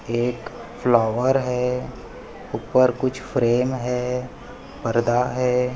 एक फ्लावर है ऊपर कुछ फ्रेम है पर्दा है।